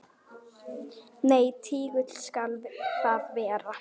Nei, tígull skal það vera.